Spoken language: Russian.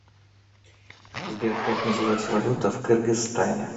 сбер как называется валюта в кыргызстане